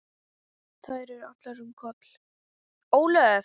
Þær eru allar um Kol.